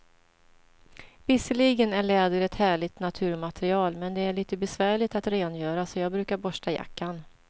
Visserligen är läder ett härligt naturmaterial, men det är lite besvärligt att rengöra, så jag brukar borsta jackan.